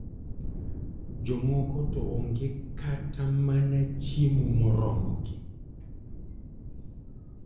Jomoko to onge kata mana chiemo moromogi.